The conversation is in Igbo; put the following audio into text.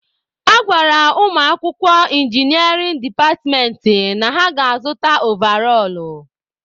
A gwara ụmụakwụkwọ inginịarịn departmentị na ha ga-azụta ovarọl.